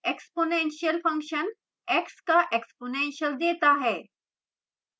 exponential function x का exponential देता है